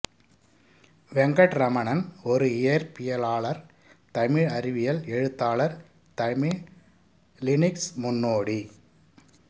வெங்கட்ரமணன் ஒரு இயற்பியலாளார் தமிழ் அறிவியல் எழுத்தாளர் தமிழ் லினிக்ஸ் முன்னோடி